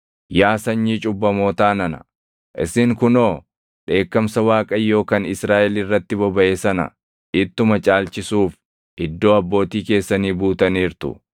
“Yaa sanyii cubbamootaa nana, isin kunoo dheekkamsa Waaqayyoo kan Israaʼel irratti bobaʼe sana ittuma caalchisuuf iddoo abbootii keessanii buutaniirtu.